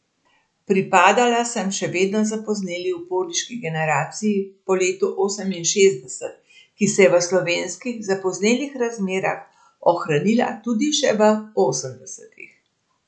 Pripadala sem še vedno zapozneli uporniški generaciji po letu oseminšestdeset, ki se je v slovenskih zapoznelih razmerah ohranila tudi še v osemdesetih.